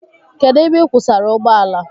Kedụ ebe ị kwụsara ụgbọala?